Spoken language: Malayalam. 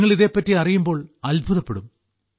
നിങ്ങൾ ഇതെപ്പറ്റി അറിയുമ്പോൾ അത്ഭുതപ്പെടും